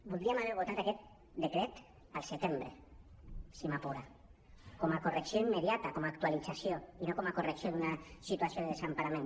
voldríem haver votat aquest decret al setembre si m’apura com a correcció immediata com a actualització i no com a correcció d’una situació de desempara·ment